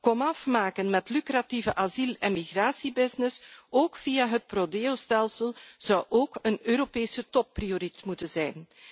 Komaf maken met lucratieve asiel en migratiebusiness, ook via het pro Deostelsel, zou ook een Europese topprioriteit moeten zijn.